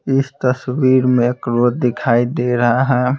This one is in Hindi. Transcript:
इस तस्वीर में क्रोध दिखाई दे रहा है।